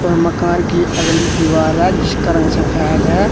मकान की अगली दीवार है जिसका रंग सफेद है।